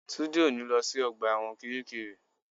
Túndé ò ní lọ sí ọgbà ẹ̀wọ̀n kiríkirì